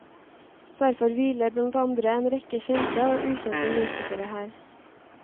Derfor hviler blant andre en rekke kjente og ukjente musikere her.